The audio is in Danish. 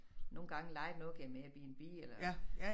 Nogle gange lejede noget gennem AirBNB eller